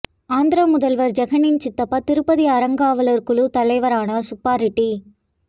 ஆந்திர முதல்வர் ஜெகனின் சித்தப்பா திருப்பதி அறங்காவலர் குழு தலைவரானார் சுப்பா ரெட்டி